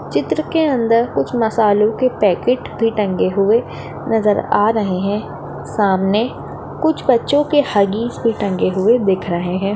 चित्र के अंदर कुछ मसालो के पाकिट भी टंगे हुए नजर आ रहे है सामने कुछ बच्चों के हग्गिस भी टंगे हुए दिख रहे है।